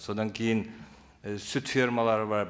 содан кейін і сүт фермалары бар